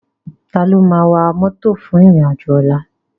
Táló má wá mòtó fún irin ájò òlà?